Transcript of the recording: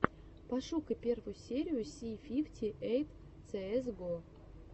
пошукай первую серию си фифти эйт цээс го